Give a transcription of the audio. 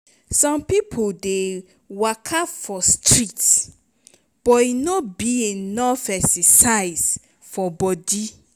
some pipo dey waka for street but e no be enough exercise for body.